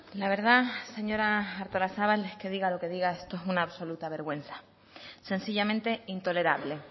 la verdad señora artolazabal es que diga lo que diga esto es una absoluta vergüenza sencillamente intolerable